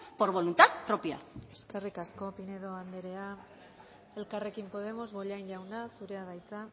por voluntad propia eskerrik asko pinedo andrea elkarrekin podemos bollain jauna zurea da hitza